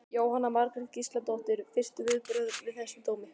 Jóhanna Margrét Gísladóttir: Fyrstu viðbrögð við þessum dómi?